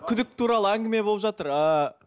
күдік туралы әңгіме болып жатыр ы